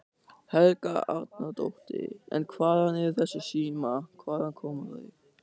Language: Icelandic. Helga Arnardóttir: En hvaðan eru þessir símar, hvaðan koma þeir?